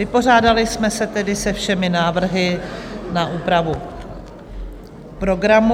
Vypořádali jsme se tedy se všemi návrhy na úpravu programu.